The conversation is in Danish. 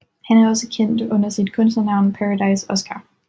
Han er også kendt under sit kunstnernavn Paradise Oskar